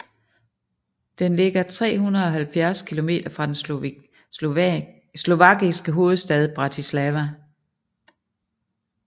Den ligger 370 kilometer fra den slovakiske hovedstad Bratislava